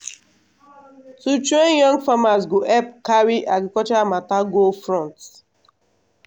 to train young farmers go help carry agriculture matter go front.